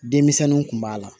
Denmisɛnninw kun b'a la